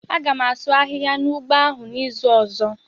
A gam asụ ahịhịa n'ugbo ahụ n'izu ọzọ.